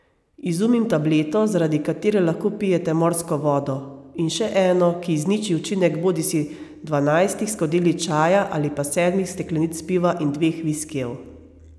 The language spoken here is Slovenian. Izumim tableto, zaradi katere lahko pijete morsko vodo, in še eno, ki izniči učinek bodisi dvanajstih skodelic čaja ali pa sedmih steklenic piva in dveh viskijev.